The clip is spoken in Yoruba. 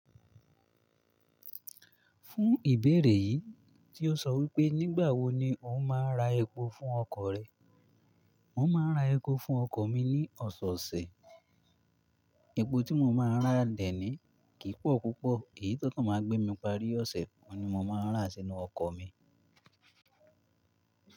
Fún ìbéèrè yìí tí ó sọ wípé nígbàwo ni ò ń máa ra epo fún ọkọ̀ rẹ. Mo máa ń ra epo fún ọkọ̀ mi ní ọ̀sẹ̀ẹ̀sẹ̀. Epo tí mo máa ń rà dẹ́ni kì í pọ̀ púpọ̀, èyí tó máa ń gbé mi parí ọ̀sẹ̀ oun ni mo máa ń rà sínu ọkọ̀ mi.